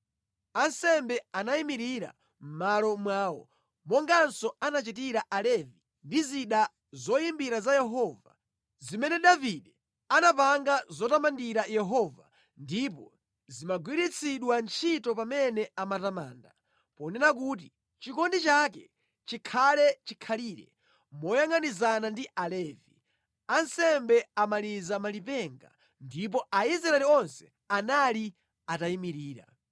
Ansembe anayimirira mʼmalo mwawo, monganso anachitira Alevi ndi zida zoyimbira za Yehova, zimene Davide anapanga zotamandira Yehova ndipo zimagwiritsidwa ntchito pamene amatamanda, ponena kuti, “Chikondi chake chikhale chikhalire.” Moyangʼanizana ndi Alevi, ansembe amaliza malipenga, ndipo Aisraeli onse anali atayimirira.